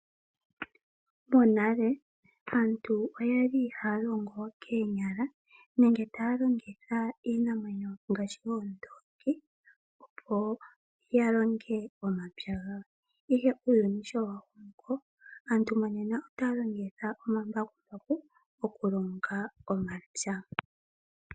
Monale aantu okwali haya longo koonyala nenge taya longitha iinamwenyo ngaashi oondongi opo yalonge omapya gawo ihe uuyuni sho wa koko , aantu monena otaya longitha omambakumbaku okulonga omapya.